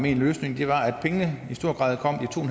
i en løsning